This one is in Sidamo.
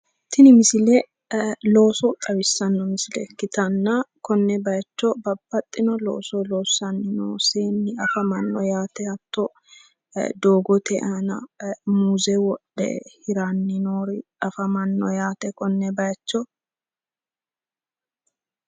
Tini misile looso xawissanno misile ikkitanna konne bayicho babbaxxino looso loosanno seenni afamanno yaate hatto doogote aana muuze wodhe hiranni noori afamanno yaate konne bayicho.